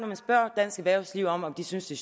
man spørger dansk erhvervsliv om de synes det